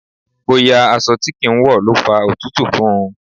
Bóyá aṣọ tí kì ń wọ̀ ló fa òtútù fún.